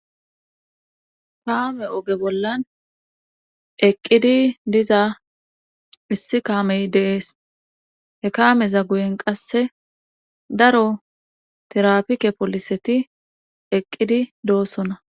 Paame oge bollan eqqidi diza missi kaamey deees he kaameza guyen qasse daro tirapike poliseti eqqidi doossona